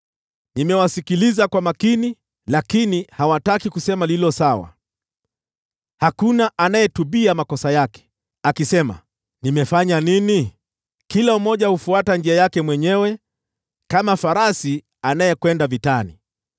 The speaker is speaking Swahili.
Nimewasikiliza kwa makini, lakini hawataki kusema lililo sawa. Hakuna anayetubia makosa yake akisema, “Nimefanya nini?” Kila mmoja hufuata njia yake mwenyewe kama farasi anayekwenda vitani.